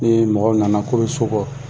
mɔgɔw nana k'o bɛ so kɔ.